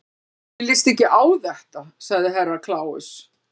Mér líst ekki á þetta, sagði Herra Kláus.